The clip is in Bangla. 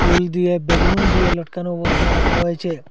ফুল দিয়ে বেলুন দিয়ে লটকানো অবস্তায় রাকা হয়েচে।